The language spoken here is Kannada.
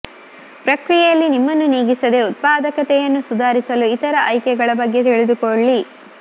ಪ್ರಕ್ರಿಯೆಯಲ್ಲಿ ನಿಮ್ಮನ್ನು ನೀಗಿಸದೆ ಉತ್ಪಾದಕತೆಯನ್ನು ಸುಧಾರಿಸಲು ಇತರ ಆಯ್ಕೆಗಳ ಬಗ್ಗೆ ತಿಳಿದುಕೊಳ್ಳಿ